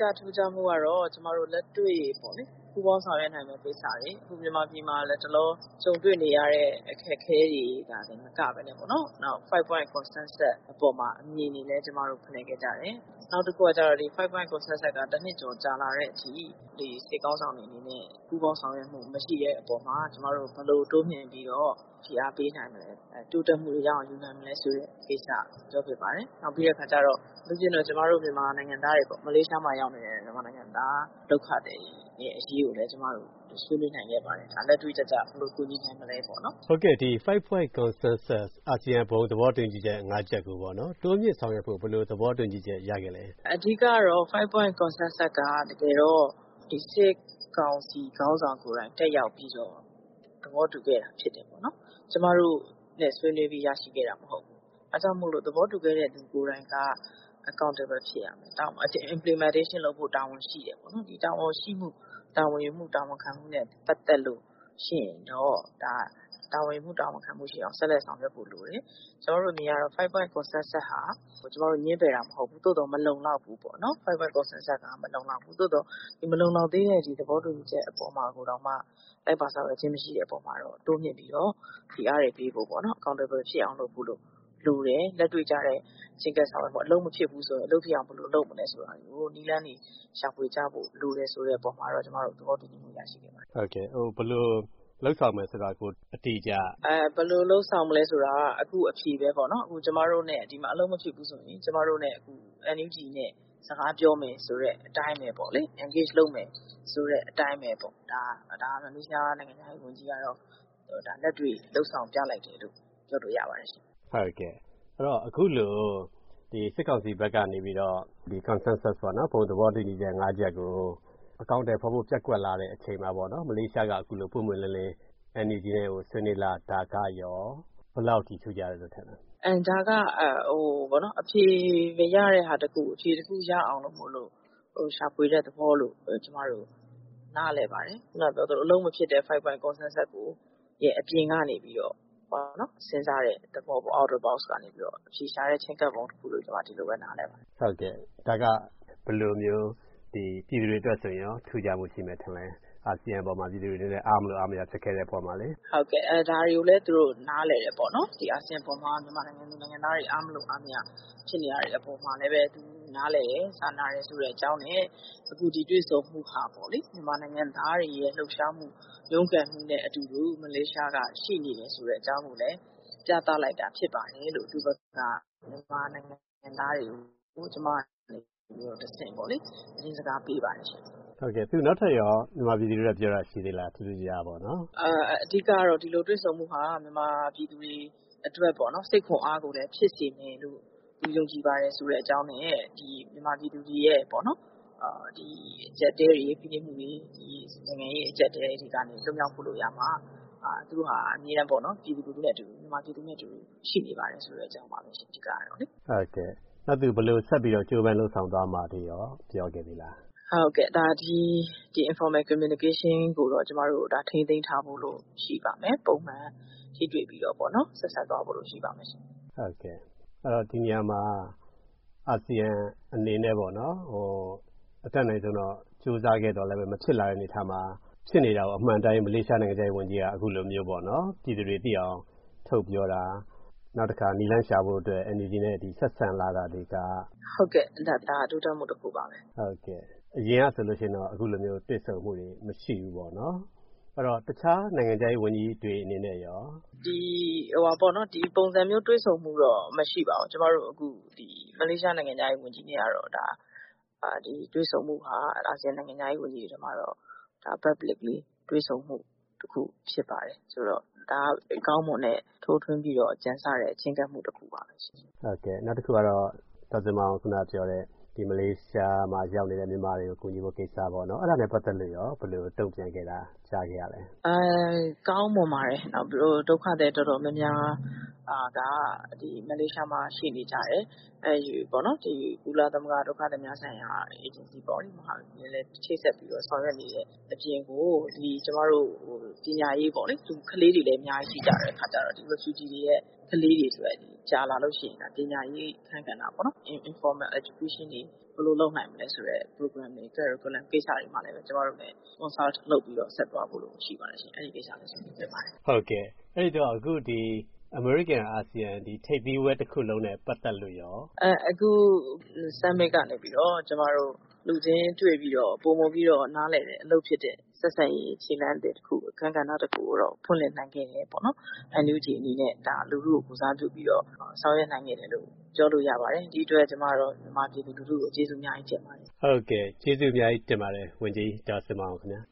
ကထူးခြားမှုကတော့ ကျမတို့ လက်တွေ့ ပူးပေါင်းဆောင်ရွက်နိုင်မယ့် ကိစ္စတွေ၊ အခု မြန်မာပြည်မှာ လတ်တလော ကြုံတွေ့နေရတဲ့ အခက်အခဲတွေသာ မကဘဲ 5 Point Consensus အပေါ်မှာ အမြင်တွေလည်း ကျမတို့ ဖလှယ်ခဲ့ကြတယ်။ နောက်တခုက ဒီ 5 Point Consensus က တနှစ်ကျော် ကြာလာတဲ့အထိ စစ်ခေါင်းဆောင်တွေအနေနဲ့ ပူးပေါင်းဆောင်ရွက်မှု မရှိတဲ့အပေါ်မှာ ကျမတို့ ဘယ်လိုတိုးမြှင့်ပြီး ဖိအားပေးနိုင်မလဲ၊ တိုးတက်မှုရအောင် ယူနိုင်မလဲဆိုတဲ့ ကိစ္စ ပြောဖြစ်ပါတယ်။ နောက်ပြီးတော့ အထူးသဖြင့် မလေးရှားမှာရောက်နေတဲ့ ကျမတို့ မြန်မာနိုင်ငံသား ဒုက္ခသည်တွေရဲ့ အရေးကိုလည်း ကျမတို့ ဆွေးနွေးနိုင်ခဲ့ပါတယ်။ လက်တွေ့ကျကျ ဘယ်လိုကူညီနိုင်မလဲပေါ့။” 5 Point Consensus အာဆီယံ ဘုံသဘောတူညီချက် ၅ ချက်ကို တိုးမြှင့်ဆောင်ရွက်ဖို့ ဘယ်လိုသဘောတူညီချက် ရခဲ့လဲ။ “အဓိကတော့ 5 Point Consensus က တကယ်တော့ စစ်ကောင်စီ ခေါင်းဆောင်ကိုယ်တိုင် တက်ရောက်ပြီးတော့ သဘောတူခဲ့တာဖြစ်တယ်။ ကျမတို့နဲ့ ဆွေးနွေးပြီး ရရှိခဲ့တာမဟုတ်ဘူး။ ဒါကြောင့်မို့ သဘောတူခဲ့တဲ့သူ ကိုယ်တိုင်က Accountable ဖြစ်ရမယ်။ Implementation လုပ်ဖို့ တာဝန်ရှိတယ်။ တာဝန်ရှိမှု၊ တာဝန်ယူမှု၊ တာဝန်ခံမှုနဲ့ ပတ်သက်လို့ရှိရင်တော့ ဒါ တာဝန်ယူမှု၊ တာဝန်ခံမှုရှိအောင် ဆက်လက်ဆောင်ရွက်ဖို့လိုတယ်။ ကျမတို့အမြင်ကတော့ 5 Point Consensus ဟာ ကျမတို့ ငြင်းပယ်တာမဟုတ်ဘူး။ သို့သော် 5 Point Consensus က မလုံလောက်ဘူးပေါ့။ မလုံလောက်သေးတဲ့ ဒီသဘောတူညီချက် အပေါ်မှာတောင်မှ လိုက်ပါဆောင်ရွက်ခြင်း မရှိတဲ့အပေါ်မှာတော့ တိုးမြှင့်ပြီးတော့ ဖိအားတွေ ပေးဖို့ပေါ့။ Accountable ဖြစ်အောင် လုပ်ဖို့လိုတယ်။ လက်တွေ့ကျတဲ့ ချဉ်းကပ်ဆောင်ရွက်မှု၊ အလုပ်မဖြစ်ဘူးဆို အလုပ်ဖြစ်အောင် ဘယ်လိုလုပ်မလဲဆိုတာ နည်းလမ်းတွေ ရှာဖွေကြဖို့ လိုတယ်ဆိုတာ ကျမတို့ သဘောတူညီမှု ရရှိခဲ့ပါတယ်။” ဘယ်လိုလုပ်ဆောင်မယ် ဆိုတာကို အတိအကျ။ “ဘယ်လိုလုပ်ဆောင်မလဲ ဆိုတာက အခု အဖြေပဲပေါ့၊ ဒီမှာ အလုပ်မဖြစ်ဘူးဆိုရင် ကျမတို့ NUG နဲ့ စကားပြောမယ်ဆိုတဲ့ အတိုင်းပဲပေါ့လေ၊ Engage လုပ်မယ်ဆိုတဲ့အတိုင်းပဲပေ့ါ၊ ဒါ မလေးရှားနိုင်ငံခြားရေးဝန်ကြီးက လက်တွေ့ လုပ်ဆောင်ပြလိုက်တယ်လို့ ပြောလို့ရပါတယ်။” အခုလို စစ်ကောင်စီဘက်ကနေပြီးတော့ Consensus ဘုံသဘောတူညီချက် ၅ ချက်ကို အကောင်အထည်ဖော်ဖို့ ပျက်ကွက်လာတဲ့အချိန်မှာ မလေးရှားက ပွင့်ပွင့်လင်းလင်း NUG ကို ဆွေးနွေးလာတာကရော ဘယ်လောက်အထိ ထူးခြားတယ်လို့ထင်လဲ။ “ဒါက အဖြေမရတဲ့ဟာတခုကို အဖြေတခုရအောင် ရှာဖွေတဲ့သဘောလို့ ကျမတို့ နားလည်ပါတယ်။ ခုနပြောသလို အလုပ်မဖြစ်တဲ့ 5 Point Consensus ရဲ့ အပြင်ကနေပြီးတော့ စဉ်းစားတဲ့သဘောပေါ့၊ Out of Box ကနေပြီးတော့ အဖြေရှာတဲ့ ချဉ်းကပ်ပုံတခုလို့ ကျမ ဒီလိုပဲ နားလည်ပါတယ်။” ဒါက ဘယ်လိုမျိုး ပြည်သူတွေအတွက်ဆိုရင်ရော ထူးခြားမှုရှိမယ်ထင်လဲ။ အာဆီယံအပေါ်မှာ ပြည်သူတွေအနေနဲ့ အားမလိုအားမရ ဖြစ်ခဲ့တဲ့အပေါ်မှာလေ။ “ဟုတ်ကဲ့၊ ဒါတွေကိုလည်း သူတို့ နားလည်တယ်ပေါ့။ အာဆီယံအပေါ်မှာ မြန်မာနိုင်ငံသူ နိုင်ငံသားတွေ အားမလိုအားမရ ဖြစ်နေတာတွေ အပေါ်မှာလည်း သူနားလည်တယ်၊ စာနာတယ် ဆိုတဲ့အကြောင်းနဲ့ အခု ဒီတွေ့ဆုံမှုဟာ မြန်မာနိုင်ငံသားတွေရဲ့ လှုပ်ရှားမှု၊ ရုန်းကန်မှုနဲ့အတူတူ မလေးရှားက ရှိနေတယ်ဆိုတဲ့ အကြောင်းကိုလည်း ပြသလိုက်တာ ဖြစ်ပါတယ်လို့ သူ့ဘက်က မြန်မာနိုင်ငံသူ နိုင်ငံသားတွေကို ကျမကနေတဆင့် သတင်းစကားပေးပါတယ်။” သူ နောက်ထပ်ရော မြန်မာပြည်သူတွေအတွက် ပြောတာ ရှိသေးလား၊ ထူးထူးခြားခြားပေါ့။ “အဓိကတော့ ဒီလိုတွေ့ဆုံမှုဟာ မြန်မာပြည်သူတွေအတွက် စိတ်ခွန်အားကို ဖြစ်စေမယ်လို့ သူယုံကြည်ပါတယ်ဆိုတဲ့ အကြောင်းနဲ့ မြန်မာပြည်သူတွေရဲ့ အကျပ်အတည်းတွေ၊ ဖိနှိပ်မှုတွေ၊ နိုင်ငံရေး အကျပ်အတည်းတွေကနေ လွတ်မြောက်ဖို့ရာမှာ သူက အမြဲတမ်း မြန်မာပြည်သူတွေနဲ့အတူ ရှိနေပါတယ်ဆိုတဲ့ အကြောင်းပါပဲ၊ အဓိကကတော့။” နောက် သူ ဘယ်လိုဆက်ပြီး ကြိုးပမ်း လုပ်ဆောင်သွားမှာတွေရော ပြောခဲ့သေးလား။ “ဒီ Informal Communication ကိုတော့ ကျမတို့ ထိန်းသိမ်းထားဖို့ ရှိပါမယ်။ ပုံမှန် ထိတွေ့ပြီးတော့ ရှေ့ဆက်သွားဖို့ ရှိပါမယ်။” ဒီနေရာမှာ အာဆီယံအနေနဲ့ အတတ်နိုင်ဆုံး ကြိုးစားခဲ့သော်လည်း မဖြစ်လာတဲ့ အနေအထားမှာ ဖြစ်နေတာကို အမှန်အတိုင်း မလေးရှား နိုင်ငံခြားရေးဝန်ကြီးက အခုလိုမျိုး ပြည်သူတွေသိအောင် ထုတ်ပြောတာ၊ နောက်တခါ နည်းလမ်းရှာဖို့ NUG နဲ့ ဆက်ဆံလာတာတွေက။ “ဟုတ်ကဲ့၊ ဒါ တိုးတက်မှုတခုပါပဲ။” အရင်ကဆိုရင်တော့ အခုလိုမျိုး တွေ့ဆုံမှုတွေ မရှိဘူးပေါ့။ အဲ့တော့ တခြား နိုင်ငံခြားရေးဝန်ကြီးတွေ အနေနဲ့ရော။ “ဒီပုံစံမျိုး တွေ့ဆုံမှုတော့ မရှိပါဘူး။ ကျမတို့ မလေးရှား နိုင်ငံခြားရေးဝန်ကြီးနဲ့ကတော့ ဒီတွေ့ဆုံမှုဟာ အာဆီယံ နိုင်ငံခြားရေးဝန်ကြီးတွေထဲမှာတော့ Publicly တွေ့ဆုံမှုတခု ဖြစ်ပါတယ်။ ဒါ ကောင်းမွန်တဲ့၊ ထိုးထွင်းပြီး ကြံဆတဲ့ ချဉ်းကပ်မှုတခုပါပဲ။” နောက်တခုကတော့ ဒေါ်ဇင်မာအောင် ခုနပြောတဲ့ မလေးရှားမှာ ရောက်နေတဲ့ မြန်မာတွေကို ကူညီဖို့ကိစ္စ၊ အဲဒါနဲ့ ပတ်သက်လို့ရော ဘယ်လိုတုံ့ပြန်ခဲ့တာ ကြားခဲ့ရလဲ။ “ကောင်းမွန်ပါတယ်။ ဒုက္ခသည် တော်တော်များများ မလေးရှားမှာ ရှိနေကြတယ်။ ကုလသမဂ္ဂ ဒုက္ခသည်များဆိုင်ရာ အေဂျင်စီနဲ့ ချိတ်ဆက်ပြီးတော့ ဆောင်ရွက်နေတဲ့အပြင် ပညာရေးပေါ့၊ ကလေးတွေလည်း အများကြီး ရှိကြတဲ့အခါကြတော့ ဒီ Refugee တွေရဲ့ ကလေးတွေအတွက် ကြာလာလို့ရှိရင် ပညာရေးအခန်းကဏ္ဍပေါ့၊ Informal Education တွေ ဘယ်လိုလုပ်နိုင်မလဲဆိုတဲ့ Program တွေ၊ Curriculum ကိစ္စတွေမှာလည်း ကျမတို့နဲ့ Consult လုပ်ပြီး ဆက်သွားဖို့ရှိပါတယ်။ အဲဒီကိစ္စလည်း ဆွေးနွေးခဲ့ပါတယ်။” အဲဒီတော့ အခု ဒီ အမေရိကန်-အာဆီယံ ထိပ်သီးစည်းဝေးပွဲ တခုလုံးနဲ့ ပတ်သက်လို့ရော။ “အခု Summit ကနေပြီးတော့ ကျမတို့ လူချင်းတွေ့ပြီးတော့ ပိုမိုနားလည်တဲ့ အလုပ်ဖြစ်တဲ့ ဆက်ဆံရေး ခြေလှမ်းသစ်တခု၊ အခန်းကဏ္ဍ တခုကိုတော့ ဖွင့်လှစ်နိုင်ခဲ့တယ်။ NUG အနေနဲ့ လူထုကို ကိုယ်စားပြုပြီးတော့ ဆောင်ရွက်နိုင်ခဲ့တယ်လို့ ပြောလို့ရပါတယ်။ ဒီအတွက် ကျမ မြန်မာလူထုကို ကျေးဇူးအများကြီးတင်ပါတယ်။” ဟုတ်ကဲ့၊ ကျေးဇူးအများကြီးတင်ပါတယ် ဝန်ကြီး ဒေါ်ဇင်မာအောင်ခင်ဗျာ